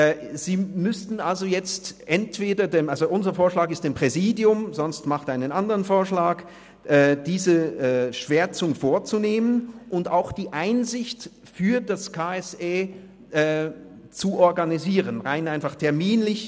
Unser Vorschlag ist es, dies dem Präsidium zu übergeben – oder sonst machen Sie einen anderen Vorschlag –, damit dieses die Schwärzungen vornimmt und auch die Einsicht für den KSE Bern rein terminlich organisiert.